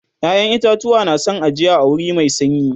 ƴaƴan itatuwa na San ajiya a wuri Mai sanyi